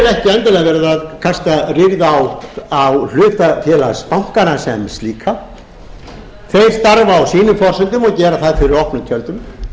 verið að kasta rýrð á hlutafeálgsbankana sem slíka þeir starfa á sínum forsendum og gera það fyrir opnum tjöldum